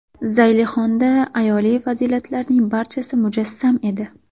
Zaylixonda ayoliy fazilatlarning barchasi mujassam edi.